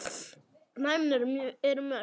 dæmin eru mörg.